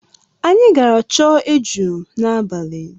Anyị gara chọọ eju n'abalị.